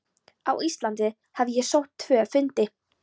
Á Íslandi hafði ég sótt tvo fundi.